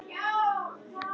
Þú lést hann reka mig